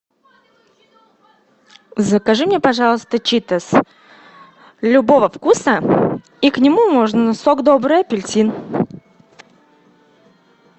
закажи мне пожалуйста читос любого вкуса и к нему можно сок добрый апельсин